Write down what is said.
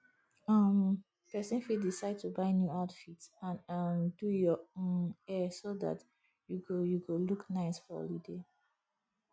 um persin fit decide to buy new outfits and um do your um hair so that you go you go look nice for holiday